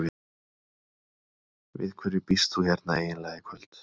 Við hverju býst þú hérna eiginlega í kvöld?